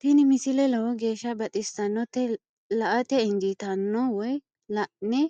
tini misile lowo geeshsha baxissannote la"ate injiitanno woy la'ne